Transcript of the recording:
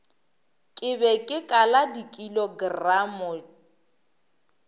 ke be ke kala dikilogramo